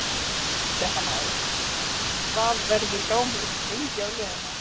Fréttamaður: Hvað verður gámurinn lengi á leiðinni?